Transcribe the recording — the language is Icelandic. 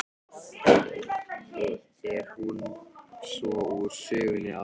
Og er hún svo úr sögunni að sinni.